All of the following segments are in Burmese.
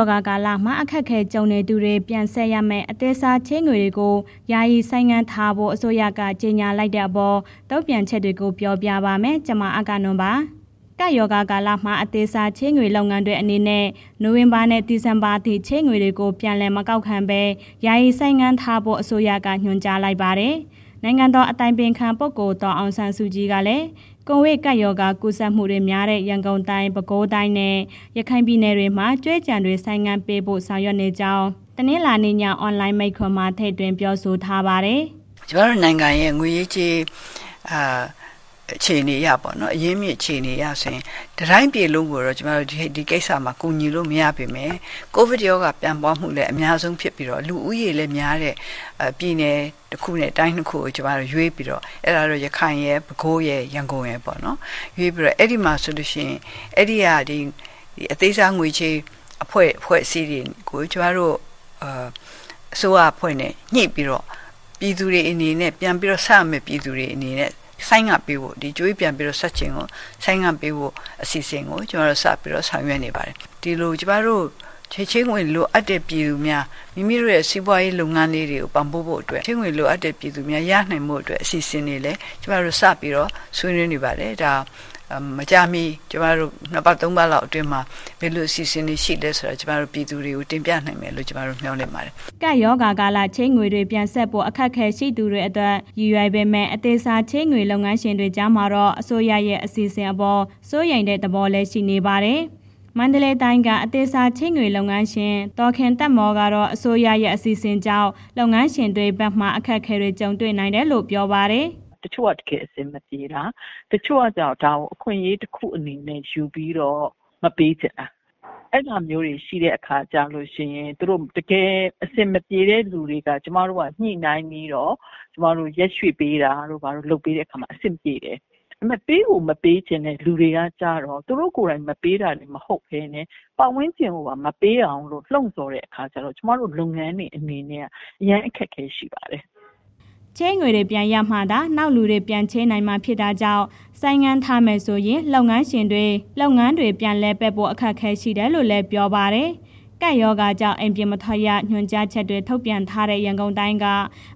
ောဂါကာလမှာ အခက်အခဲကြုံနေသူတွေ ပြန်ဆပ်ရမယ့် အသေးစားချေးငွေတွေကို ယာယီဆိုင်းထားပေးဖို့ အစိုးရက ကြေညာလိုက်တဲ့အပေါ် တုံ့ပြန်ချက်တွေကို ပြောပြပါမယ်။ ဗွီအိုအေသတင်းထောက် အဂ္ဂနွန် သတင်းပေးပို့ထားပါတယ်။ ကပ်ရောဂါကာလမှာ အသေးစားချေးငွေ လုပ်ငန်းတွေအနေနဲ့ နိုဝင်ဘာနဲ့ ဒီဇင်ဘာအထိ ချေးငွေတွေကို ပြန်လည်မကောက်ခံပဲ ယာယီဆိုင်းငံ့ထားဖို့ အစိုးရက ညွှန်ကြားလိုက်ပါတယ်။ နိုင်ငံတော်အတိုင်ပင်ခံ ပုဂ္ဂိုလ် ဒေါ်အောင်ဆန်းစုကြည်ကလည်း ကိုဗစ်ကပ်ရောဂါ ကူးစက်မှုများတဲ့ ရန်ကုန်တိုင်း ၊ ပဲခူးတိုင်းနဲ့ ရခိုင်ပြည်နယ်တွေမှာ ကြွေးကျန်တွေ ဆိုင်းငံ့ပေးဖို့ ဆောင်ရွက်နေကြောင်း တနင်္လာနေ့ည အွန်လိုင်းမိန့်ခွန်းမှာ ထည့်သွင်းပြောဆိုသွားပါတယ်။ “ကျမတို့နိုင်ငံရဲ့ ငွေရေးကြေးရေး အခြေအနေအရပေါ့နော် အရင်းအမြစ်အခြေအနေအရဆိုရင် တစ်တိုင်းပြည်လုံးကိုတော့ ကျမတို့ ဒီကိစ္စကို ကူညီလို့မရပေမယ့် ကိုဗစ်ရောဂါ ပြန့်ပွားမှုလည်း အများဖြစ်ပြီးတော့ လူဦးရေလည်းများတဲ့ ပြည်တစ်ခုနဲ့ တိုင်း ၂ခုကို ကျမတို့ရွေးပြီးတော့ အဲ့ဒါကို ရခိုင်ရယ် ပဲခူးရယ် ရန်ကုန်ရယ်ပေါ့နော်၊ ရွေးပြီးတော့ အဲ့ဒီမှာဆိုလို့ရှိရင် အဲ့ဒီက အသေးစာငွေချေးအဖွဲ့အစည်းတွေကို ကျမတို့ အစိုးရအဖွဲ့နဲ့ ညှိပြီးတော့ ပြန်ပြီးတာ ဆပ်ရမယ့် ပြည်သူတွေအနေနဲ့ ဆိုင်းငံ့ပေးဖို့ ကြွေးကျန်တွေ ဆိုင်းငံ့ပေးဖို့ အစီအစဉ်ကို ကျမတို့စပြီးတော့ ဆောင်ရွက်နေပါတယ်၊ ဒီလို ကျမတို့ ချေးငွေလိုအပ်တဲ့ ပြည်သူများမိမိတို့ရဲ့ စီးပွားရေးလုပ်ငန်းတွေ ပံ့ပိုးဖို့အတွက် ချေးငွေလိုအပ်တဲ့ ပြည်သူများရနိုင်ဖို့အတွက် အစီအစဉ်တွေလည်း ကျမတို့စပြီး ဆွေးနွေးနေပါတယ်၊ ဒါ မကြာမီ ကျမတို့ နှစ်ပတ် သုံးပတ်လောက်အတွင်းမှာ ဘယ်လိုအစီအစဉ်တွေရှိလဲဆိုတာ ကျမတို့ ပြည်သူတွေကို တင်ပြနိုင်မယ်လို့ မျှော်လင့်ပါတယ်။” ကပ်ရောဂါကာလ ချေးငွေတွေ ပြန်ဆပ်ဖို့ အခက်အခဲရှိသူတွေအတွက် ရည်ရွယ်ပေမဲ့ အသေးစားချေးငွေ လုပ်ငန်းရှင်တွေ ကြားမှာတော့ အစိုးရရဲ့ အစီအစဉ်အပေါ် စိုးရိမ်တဲ့ သဘောထားတွေလည်း ရှိနေပါတယ်။ မန္တလေးတိုင်းက အသေးစားချေးငွေလုပ်ငန်းရှင် ဒေါ်ခင်သက်မော် ကတော့ အစိုးရရဲ့ အစီအစဉ်ကြောင့် လုပ်ငန်းရှင်တွေဘက်မှာ အခက်အခဲတွေ ကြုံရနိုင်တယ်လို့ ပြောပါတယ်။ “တစ်ချို့က တကယ်အဆင်မပြေတာ ၊ တချို့ကကျတော့ ဒါကို အခွင့်အရေးတစ်ခုအနေနဲ့ ယူပြီးတော့ မပေးဖြစ်တာ၊ အဲ့ဟာမျိုးတွေရှိတဲ့အခါကျတော့ သူတို့ တကယ်အဆင်မပြေတဲ့ လူတွေက ကျမတို့က ညှိုနှိုင်းပြီးတော့ ကျမတို့ ရက်ရွှေ့ ပေးတာတို့ ဘာတို့ လုပ်ပေးတဲ့အခါမှာ အဆင်ပြေတယ်၊ ဒါပေမယ့် ပေးကိုမပေးချင်တဲ့ လူတွေကကျတော့ သူတို့ကိုယ်တိုင်မပေးတာမဟုတ်ဘဲနဲ့ ပတ်ဝန်းကျင်ကိုပါ မပေးအောင်လို့ လှုံ့ဆော်တဲ့အခါကျတော့ ကျမတို့ လုပ်ငန်းတွေအနေနဲ့က အရမ်းအခက်အခဲ ရှိပါတယ်။” ချေးငွေတွေ ပြန်ရမှာသာ နောက်လူတွေ ပြန်ချေးနိုင်မှာဖြစ်တာကြောင့် ဆိုင်းငံ့ထားရမယ်ဆိုရင် လုပ်ငန်းတွေ ပြန်လည်ပတ်ဖို့ အခက်အခဲရှိတယ်လို့လည်း ပြောပါတယ်။ ကပ်ရောဂါကြောင့် အိမ်ပြင်မထွက်ရ ညွှန်ကြားချက် ထုတ်ပြန်ထားတဲ့ ရန်ကုန်တိုင်းက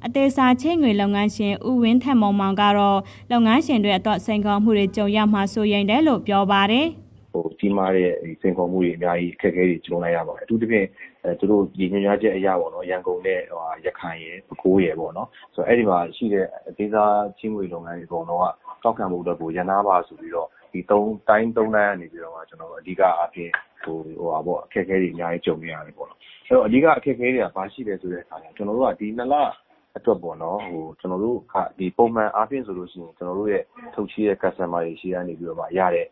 အသေးစားချေးငွေ လုပ်ငန်းရှင် ဦးဝင်းထက်မောင်မောင်ကတော့ လုပ်ငန်းရှင်တွေအတွက် စိန်ခေါ်မှုတွေ ကြုံရမှာ စိုးရိမ်တယ်လို့ ပြောပါတယ်။ “ကြီးမားတဲ့ စိန်ခေါ်မှုတွေ အများကြီး အခက်အခဲတွေ ကြုံလိုက်ရပါတယ်။ အထူးသဖြင့် ရန်ကုန်နဲ့ ရခိုင်ရယ် ၊ ပဲခူးရယ်ပေါ့နော် အဲ့ဒီမှာ ရှိတဲ့ အသေးစားချေးငွေလုပ်ငန်းတွေ အကုန်လုံးက ကောက်ခံဖို့အတွက်ကို ရပ်နားပါဆိုပြီးတော့ ဒီတိုင်းသုံးတိုင်းကနေပြီးတော့မှ ကျနော်တို့ အဓိကအားဖြင့် အခက်အခဲတွေ အများကြီး ရတယ်ပေါ့၊ ဆိုတော့ အဓိက အခက်အခဲကဘာရှိလဲဆိုတဲ့အခါမှာ ကျနော်တို့ ဒီနှစ်လအတွက်ပေါ့နော် ပုံမှန်အားဖြင့်ဆိုရင် ကျနော်တို့ရဲ့ ထုတ်ချေးတဲ့ customers တွေ ဆီကနေပြီးရတဲ့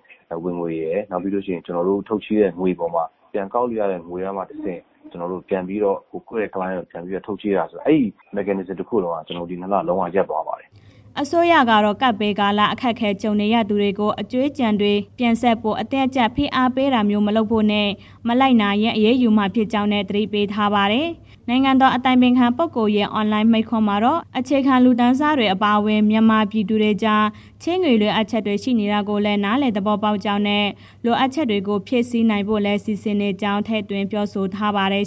ဝင်ငွေရယ် နောက်ပြီးလို့ရှိရင် ကျနော်တို့ ထုတ်ချေးတဲ့ ငွေအပေါ်မှာ ပြန်ကောက်ယူရတဲ့ ငွေကမှ တဆင့် ကျနော်တို့ပြန်ပြီး ထုတ်ချေးတယ်ဆိုတော့ အဲ့ဒီ mechanism တစ်ခုလုံးက ဒီ ၂ လ လုံးဝရပ်သွားပါတယ်။” အစိုးရကတော့ ကပ်ဘေးကာလ အခက်အခဲ ကြုံနေရသူတွေကို အကြွေးတွေ ပြန်ဆပ်ဖို့ အတင်းအကြပ် ဖိအားပေးတာတွေ မလုပ်ဖို့နဲ့ မလိုက်နာရင် အရေးယူမှာဖြစ်ကြောင်းလည်း သတိပေးထားပါတယ်။ နိုင်ငံတော် အတိုင်ပင်ခံပုဂ္ဂိုလ်ရဲ့ အွန်လိုင်းမိန့်ခွန်းမှာတော့ အခြေခံလူတန်းစားတွေ အပါအဝင် မြန်မာပြည်သူတွေကြား ချေးငွေလိုအပ်ချက်တွေ ရှိနေတာကို နားလည် သဘောပေါက်ကြောင်းနဲ့ လိုအပ်ချက်တွေကို ဖြည့်ဆည်းနိုင်ဖို့လည်း စီစဉ်နေကြောင်း ထည့်သွင်းပြောဆိုထားပါတယ်